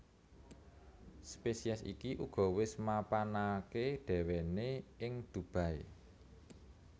Spesies iki uga wis mapananké déwéné ing Dubai